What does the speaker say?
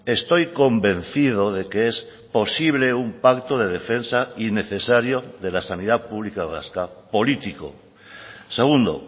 estoy convencido de que es posible un pacto de defensa y necesario de la sanidad pública vasca político segundo